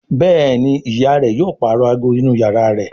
Béèni ìyá rẹ yóò parọ àgọ inú iyàrá rẹ.